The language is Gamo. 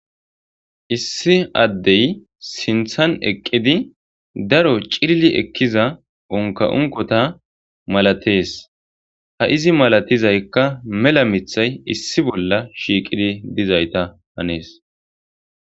Issi addey sinththan eqqidi daro cilili ekkiza unka unkota malatees. Ha izi malatizaykka mela miththay issi bolla shiiqidi dizayssa hanees.